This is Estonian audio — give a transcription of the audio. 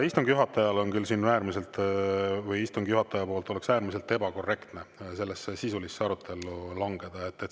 Istungi juhatajal oleks küll siin äärmiselt ebakorrektne sellesse sisulisse arutellu langeda.